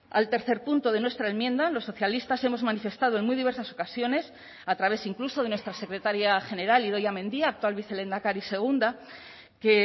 al tercer punto de nuestra enmienda los socialistas hemos manifestado en muy diversas ocasiones a través incluso de nuestra secretaria general idoia mendia actual vicelehendakari segunda que